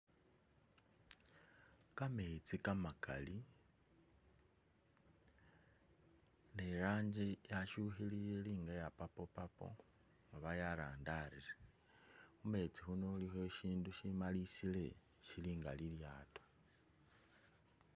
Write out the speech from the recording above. Kametsi kamakali ne iranji yashukhilile ili nga iya purple purple oba yarandarire, mumetsi khuno ilikho ishindu shimalisile shili nga lilyaato